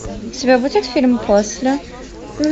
у тебя будет фильм после